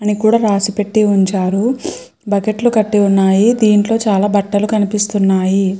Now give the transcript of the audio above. అని కూడా రాసి పెట్టి ఉంచారు బకెట్ లు కట్టి ఉన్నాయి దీంట్లో చాల బట్టలు కనిపిస్తున్నాయి.